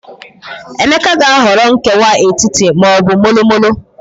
Emeka aga-ahọrọ nkewa etiti ma ọ bụ molo molo?